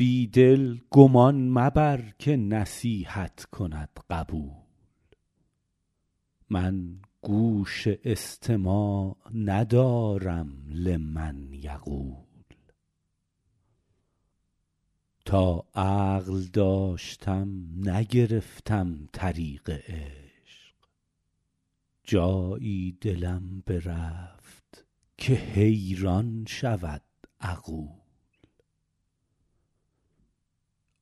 بی دل گمان مبر که نصیحت کند قبول من گوش استماع ندارم لمن یقول تا عقل داشتم نگرفتم طریق عشق جایی دلم برفت که حیران شود عقول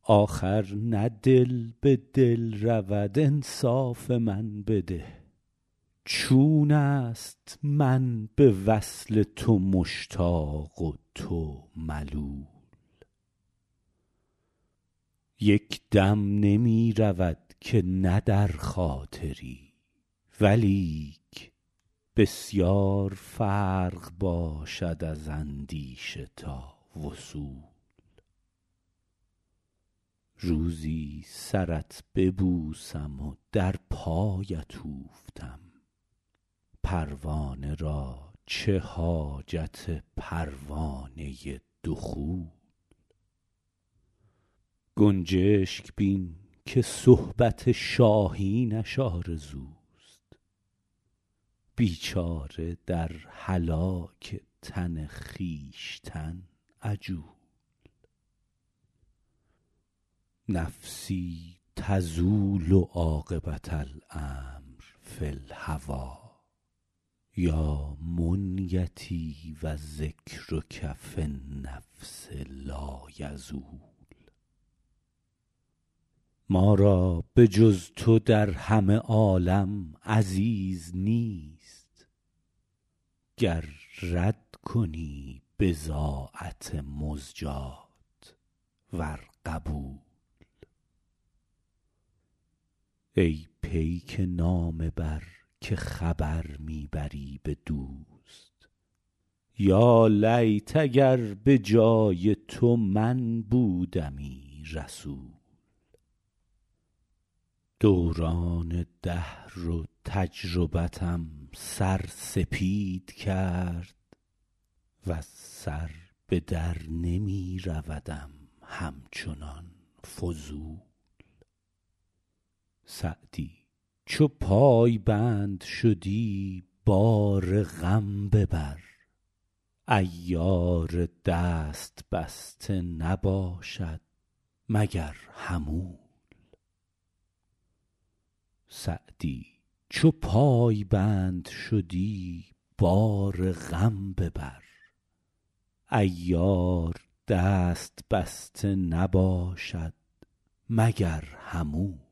آخر نه دل به دل رود انصاف من بده چون است من به وصل تو مشتاق و تو ملول یک دم نمی رود که نه در خاطری ولیک بسیار فرق باشد از اندیشه تا وصول روزی سرت ببوسم و در پایت اوفتم پروانه را چه حاجت پروانه دخول گنجشک بین که صحبت شاهینش آرزوست بیچاره در هلاک تن خویشتن عجول نفسی تزول عاقبة الأمر فی الهوی یا منیتی و ذکرک فی النفس لایزول ما را به جز تو در همه عالم عزیز نیست گر رد کنی بضاعت مزجاة ور قبول ای پیک نامه بر که خبر می بری به دوست یالیت اگر به جای تو من بودمی رسول دوران دهر و تجربتم سر سپید کرد وز سر به در نمی رودم همچنان فضول سعدی چو پایبند شدی بار غم ببر عیار دست بسته نباشد مگر حمول